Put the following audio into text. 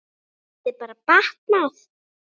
Það gæti bara batnað!